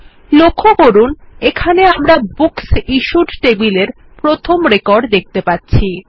লক্ষ্য করুন এখানে আমরা বুকস ইশ্যুড টেবিলের প্রথম রেকর্ড দেখতে পাচ্ছি